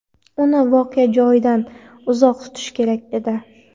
Uni voqea joyidan uzoq tutish kerak edi.